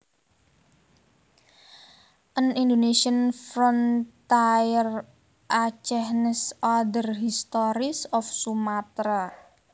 An Indonesian Frontier Acehnese Other Histories of Sumatra